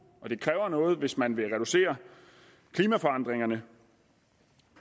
og det kræver noget hvis man vil reducere klimaforandringerne